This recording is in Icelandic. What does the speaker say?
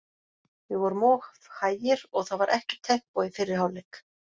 Við vorum of hægir og það var ekkert tempó í fyrri hálfleik.